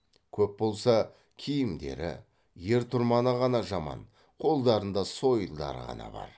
көп болса киімдері ер тұрманы ғана жаман қолдарында сойылдары ғана бар